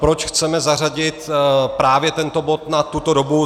Proč chceme zařadit právě tento bod na tuto dobu?